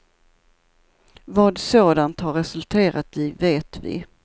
Vad sådant har resulterat i vet vi.